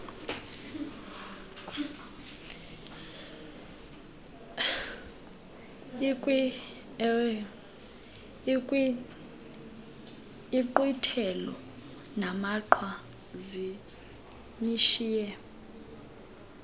inkqwithelo namaqhwa zinishiye